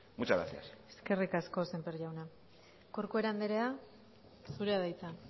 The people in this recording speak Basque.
muchas gracias eskerrik asko sémper jauna corcuera andrea zurea da hitza